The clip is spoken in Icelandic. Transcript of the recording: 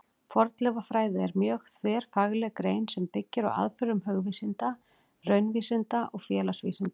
Fornleifafræði er mjög þverfagleg grein sem byggir á aðferðum hugvísinda, raunvísinda og félagsvísinda.